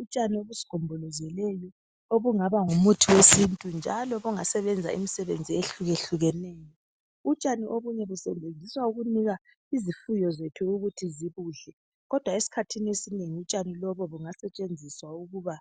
Utshani obusigombolezeleyo obungaba ngumuthi wesintu njalo obungasebenza imisebenzi ehlukahlukeneyo. Utshani obunye busetshenziswa ukunika izifuyo zethu ukuthi zibudle kodwa esikhathini esinengi utshani busetshenziswa ukuba